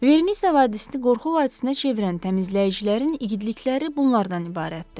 Vermisə vadisini qorxu vadisinə çevirən təmizləyicilərin igidlikləri bunlardan ibarətdir.